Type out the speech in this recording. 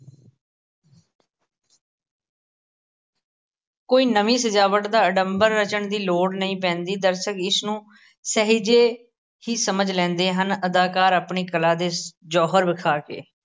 ਕੋਈ ਨਵੀਂ ਸਜਾਵਟ ਦਾ ਅਡਮਬਰ ਰਚਣ ਦੀ ਲੋੜ ਨਹੀਂ ਪੈਂਦੀ, ਦਰਸ਼ਕ ਇਸਨੂੰ ਸਹਿਜੇ ਹੀ ਸਮਝ ਲੈਂਦੇ ਹਨ, ਅਦਾਕਾਰ ਆਪਣੀ ਕਲਾ ਦੇ ਜੌਹਰ ਵਿਖਾ ਕੇ